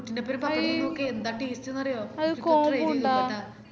പ്ട്ടിൻഡോപ്പരം പപ്പടം തിന്നൊക്ക് ന്താ taste ന്ന് അറിയോ